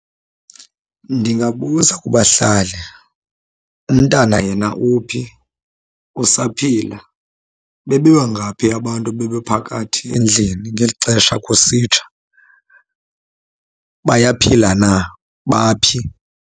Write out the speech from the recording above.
Ndingabuza kubahlali, umntana yena uphi, usaphila? Bebebangaphi abantu bebephakathi endlini ngeli xesha kusitsha? Bayaphila na, baphi?